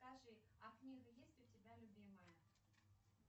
скажи а книга есть у тебя любимая